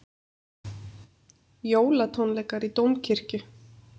Jólatónleikar í Dómkirkju